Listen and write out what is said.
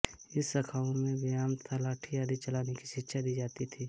इन शाखाओं में व्यायाम तथा लाठी आदि चलाने की शिक्षा दी जाती थी